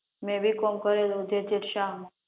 મેં B com કરેલું જે ટેક શાહ માં